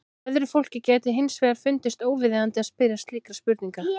Öðru fólki gæti hins vegar fundist óviðeigandi að spyrja slíkra spurninga.